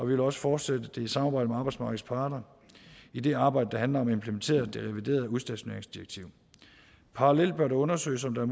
vil også fortsætte det i samarbejde med arbejdsmarkedets parter i det arbejde der handler om at implementere det reviderede udstationeringsdirektiv parallelt bør det undersøges om der